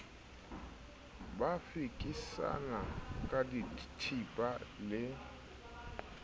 ba fekisana ka dithipa le